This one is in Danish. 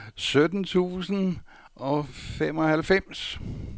sytten tusind og femoghalvfems